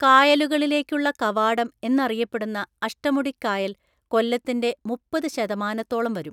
കായലുകളിലേക്കുള്ള കവാടം എന്നറിയപ്പെടുന്ന അഷ്ടമുടി കായൽ കൊല്ലത്തിന്റെ മുപ്പത് ശതമാനത്തോളം വരും.